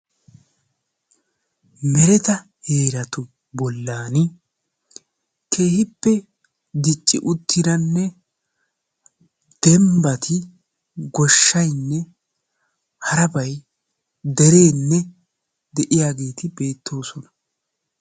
Mereta heeratu bollaani keehippe dicci uttidanne dembbati, goshshaynne harabayi dereenne de'iyageeti beettoosona.